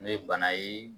N'o ye bana ye